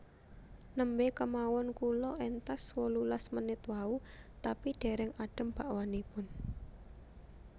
Nembe kemawon kula entas wolulas menit wau tapi dereng adem bakwanipun